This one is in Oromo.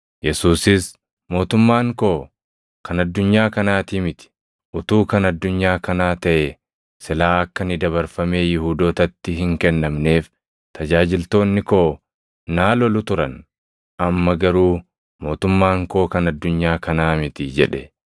Yesuusis, “Mootummaan koo kan addunyaa kanaati miti. Utuu kan addunyaa kanaa taʼee silaa akka ani dabarfamee Yihuudootatti hin kennamneef tajaajiltoonni koo naa lolu turan. Amma garuu mootummaan koo kan addunyaa kanaa miti” jedhe.